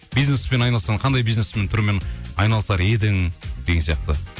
бизнеспен айналыссаң қандай бизнестің түрімен айналысар едің деген сияқты